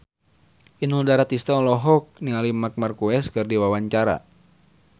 Inul Daratista olohok ningali Marc Marquez keur diwawancara